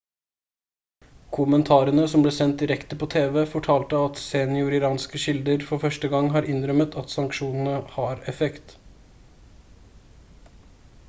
kommentarene som ble sendt direkte på tv fortalte at senioriranske kilder for første gang har innrømmet at sanksjonene har effekt